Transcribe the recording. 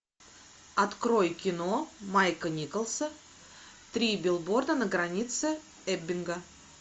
открой кино майка николса три билборда на границе эббинга